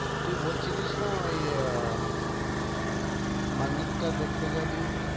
তুই বল ছিলিস না ওই আম~ মান্নাতটা দেখতে যাবি।